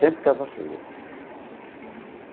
Sempre casa cheia. Eee.